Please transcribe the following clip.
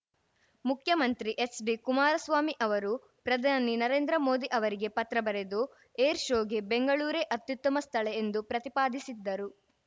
ಮುಖ್ಯಮಂತ್ರಿ ಎಚ್‌ಡಿ ಕುಮಾರಸ್ವಾಮಿ ಅವರು ಪ್ರಧಾನಿ ನರೇಂದ್ರ ಮೋದಿ ಅವರಿಗೆ ಪತ್ರ ಬರೆದು ಏರ್‌ ಶೋಗೆ ಬೆಂಗಳೂರೇ ಅತ್ಯುತ್ತಮ ಸ್ಥಳ ಎಂದು ಪ್ರತಿಪಾದಿಸಿದ್ದರು